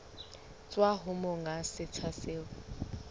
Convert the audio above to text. tswa ho monga setsha seo